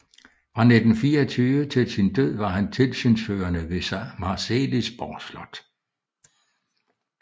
Fra 1924 til sin død var han tilsynsførende ved Marselisborg Slot